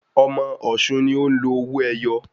Ọmọ ọ̀ṣun ni o ń lò owó ẹyọ